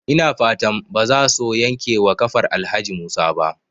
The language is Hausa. Ina fatan bazaso yankewa kafar Alhaji Musa ba?